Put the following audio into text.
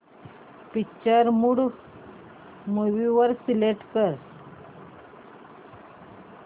picture mode movie select कर